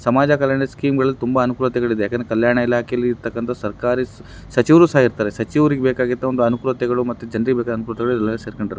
ಸಮಾಜ ಕಲ್ಯಾಣ ಸ್ಕೀಮಗಳಲ್ಲಿ ತುಂಬಾ ಅನುಕೂಲತೆಗಳಿದೆ ಯಾಕಂದ್ರೆ ಕಲ್ಯಾಣ ಇಲಾಖೆಯಲ್ಲಿ ಇರತಕ್ಕಂತಾಹ ಸರ್ಕಾರಿ ಸ- ಸಚಿವರು ಸಹಾ ಇರ್ತಾರೆ. ಸಚಿವರಿಗೆ ಬೇಕಾಗಿದ್ದ ಒಂದು ಅನುಕೂಲತೆಗಳು ಮತ್ತು ಜನರಿಗೆ ಬೇಕಾದ ಅನುಕೂಲತೆಗಳು ಎಲ್ಲವೂ ಸೇರಕಂಡ--